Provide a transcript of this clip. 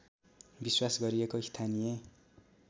विश्वास गरिएको स्थानीय